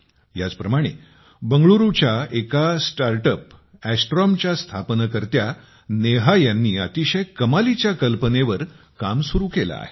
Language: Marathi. याचप्रमाणे बंगलुरूच्या एका अंतराळ स्टार्ट अप्स अस्ट्रेमच्या स्थापनकर्त्या नेहा यांनी अतिशय कमालीच्या कल्पनेवर काम सुरू केले आहे